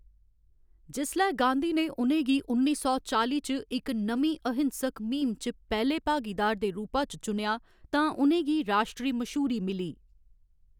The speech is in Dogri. जिसलै गाँधी ने उ'नें गी उन्नी सौ चाली च इक नमीं अहिंसक म्हीम च पैह्‌‌‌ले भागीदार दे रूपा च चुनेआ तां उ'नें गी राश्ट्री मश्हूरी मिली।